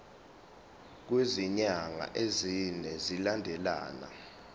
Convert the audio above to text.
kwezinyanga ezine zilandelana